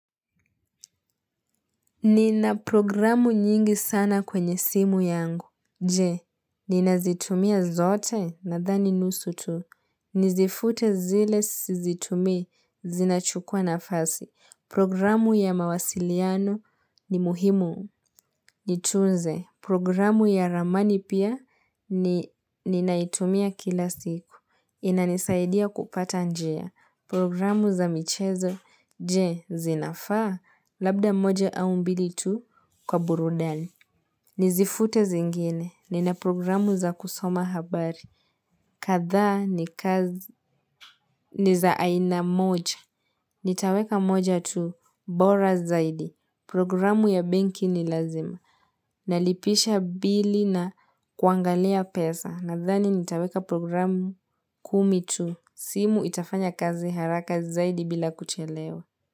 Nina programu nyingi sana kwenye simu yangu, je! Ninazitumia zote nadhani nusu tu. Nizifute zile sizitumii zinachukua nafasi. Programu ya mawasiliano ni muhimu, nitunze. Programu ya ramani pia ninaitumia kila siku. Inanisaidia kupata njia Programu za michezo je zinafaa labda moja au mbili tu kwa burudani. Nizifute zingine. Nina programu za kusoma habari. Kadhaa niza aina moja. Nitaweka moja tu bora zaidi. Programu ya benki ni lazima. Nalipisha bili na kuangalia pesa. Nadhani nitaweka programu kumi tu. Simu itafanya kazi haraka zaidi bila kuchelewa.